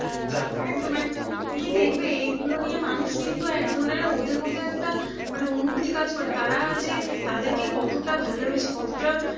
এইগুলো নিয়ে মানুষ কিন্তু এক ধরনের ওদের মধ্যে একটা মানে অনুভূতি কাজ করে তারা যে তাদেরকে কতটা ভালবেসে কতটা